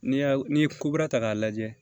N'i y'a n'i ye ko kura ta k'a lajɛ